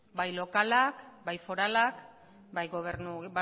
bai lokalak bai foralak bai